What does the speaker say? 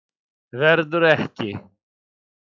Verður ekki.